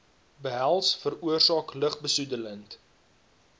behels veroorsaak lugbesoedelende